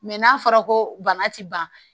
Mɛ n'a fɔra ko bana ti ban